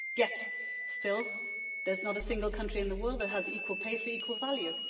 Yet, still, there's not a single country in the world that has equal pay for equal value.